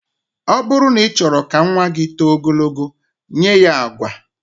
Ọ bụrụ na ị chọrọ ka nnwa gị too ogologo, nye ya agwa